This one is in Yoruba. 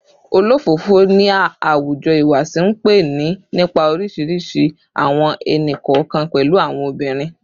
Olofofo ni a awujo ihuwasi npe ni nipa orisirisi awọn ẹni-kọọkan, pẹlu awọn obirin